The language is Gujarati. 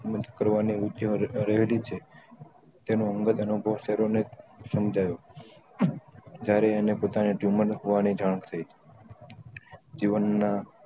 મોજ કરવાની ready છે તેનો અઅંગદ અનુભવ સેરો ને શામ્જાવ્યું ત્યારે એને પોતાને tumor લખવાની જાન થઇ જીવન ના